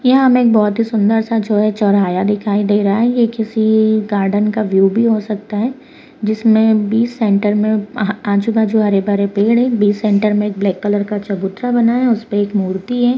यहाँ हमें एक बहोत ही सुंदर सा जो है चौरयाहा दिख रहा है ये किसी-सी गार्डन का व्यू भी हो सकता है जिसमें बीच सेंटर में अ-आजु-बाजु हरे भरे पेड़ हैं बीच सेंटर में एक ब्लैक कलर का चबूतरा बना हुआ है उसे पर एक मूर्ति है।